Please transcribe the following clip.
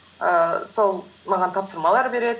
ііі сол маған тапсырмалар береді